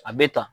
A bɛ ta